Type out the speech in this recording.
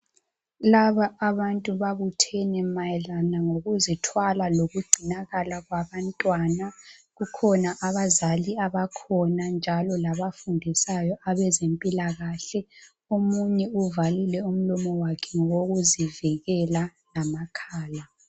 Laba abantu babuthene mayelana ngokuzithwala lokugcinakala kwabantwana. Kukhona abazali abakhona njalo labafundisayo abezempilakahle, omunye uvalile umlomo wakhe ngokuzivikela, lamakhala.